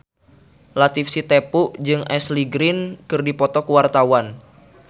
Latief Sitepu jeung Ashley Greene keur dipoto ku wartawan